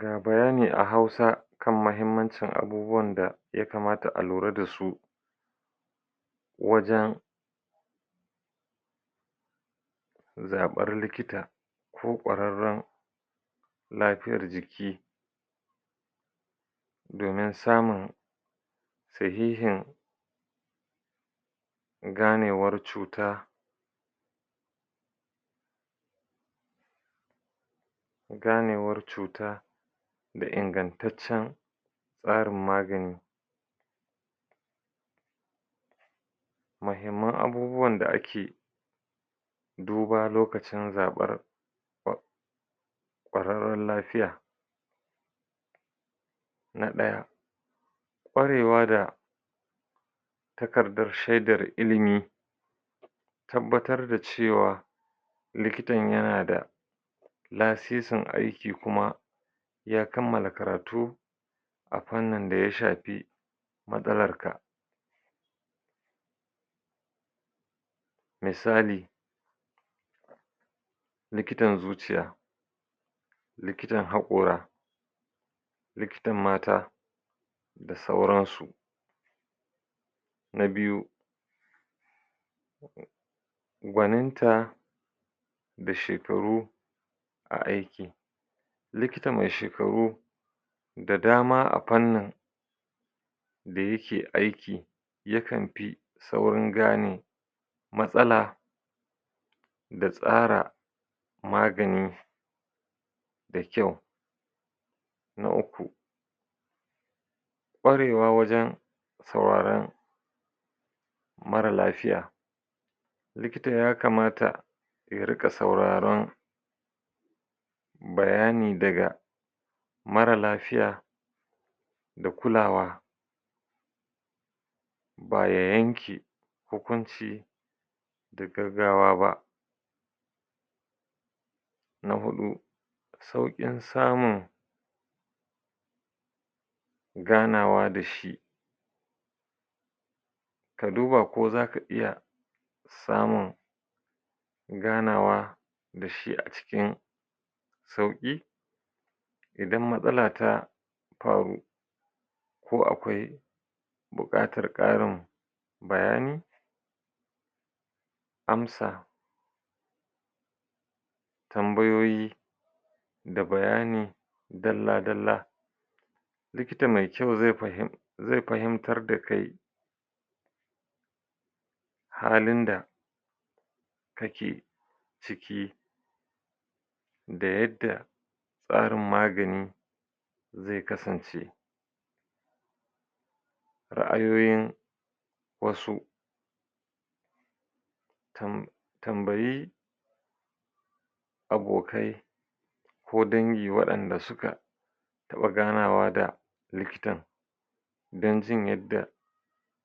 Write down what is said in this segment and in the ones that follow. Ga bayani a hausa kan muhimmancin abubuwan da ya kamata a lura da su wajen zaɓar likita, ko ƙwararren lafiyar jiki. domin samun sahihin ganewar cuta, ganewar cuta da ingantaccen tsarin magani. Mahimman abubuwan da ake duba lokacin zaɓar ƙwararren lafiya na ɗaya, ƙwarewa da takardar shaidar ilimi, tabbatar da cewa likitan yana da lasisin aiki kuma, ya kammala karatu a fannin da ya shafi matsalarka. Misali, likitan zuciya, likitan haƙora, likitan mata, da sauransu. Na biyu, gwaninta da shekaru, a aiki. Likita mai shekaru da dama a fannin da yake aiki yakan fi saurin gane matsala, da tsara magani da kyau. Na uku, ƙwarewa wajen sauraran mara lafiya. Likita ya kamata ya rika sauraron bayani daga mara lafiya, da kulawa ba ya yanke hukunci da gaggawa ba. Na huɗu, sauƙin samun ganawa da shi, ka duba ko za ka iya samun ganawa da shi a cikin sauƙi, idan matsala ta faru ko akwai, buƙatar ƙarin bayani, amsa tambayoyi, da bayani dalla-dalla, likita mai kyau zai fahimtar da kai halin da kake ciki da yadda tsarin magani zai kasance. Ra'ayoyin wasu tam tambayi abokai ko dangi waɗanda suka taɓa ganawa da likitan don jin yadda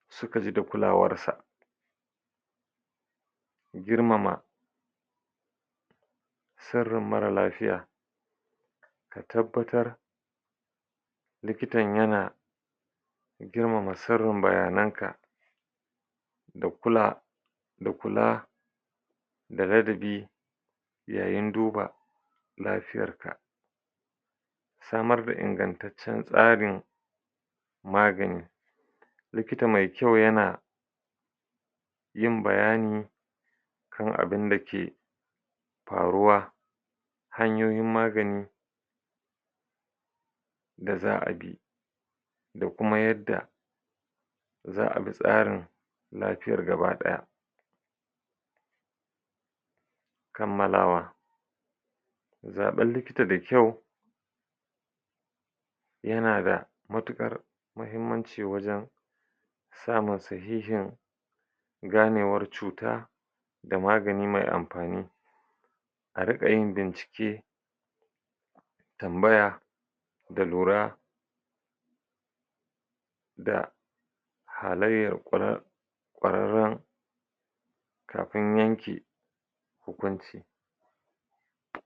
suka ji da kuklawar sa. Girmama sirrin mara lafiya tabbatar likitan yana girmama sirrin bayanka, da kula da kula da ladabi, yayin duba lafiyarka. Samar da ingantaccen tsarin magani likita mai kyau yana yin bayani kan abin da ke faruwa hanyoyin magani, da za'a bi da kuma yadda za'a bi tsarin lafiyar gaba ɗaya. Kammalawa, zaɓan likita da kyau yana da matukar mahimmanci wajen samun sahihin ganewar cuta, da magani mai amfani a riƙa yin bincike tambaya, da lura, da halayyar ƙwarrare kafin yanke hukunci.